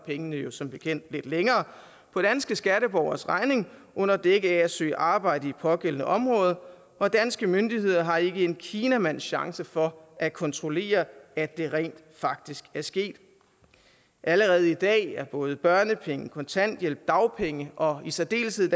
pengene jo som bekendt holder lidt længere for danske skatteborgeres regning under dække af at søge arbejde i et pågældende område og danske myndigheder har ikke en kinamands chance for at kontrollere at det rent faktisk er sket allerede i dag er både børnepenge kontanthjælp dagpenge og i særdeleshed